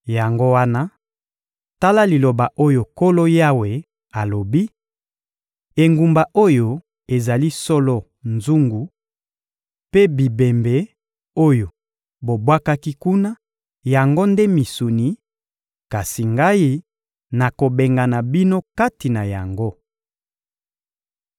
Yango wana, tala liloba oyo Nkolo Yawe alobi: engumba oyo ezali solo nzungu, mpe bibembe oyo bobwaki kuna, yango nde misuni; kasi Ngai, nakobengana bino kati na yango.